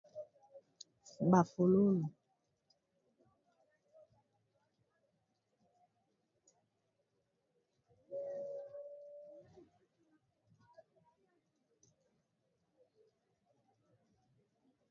Ba fololo, ba fololo, ba fololo, ba fololo, ba fololo.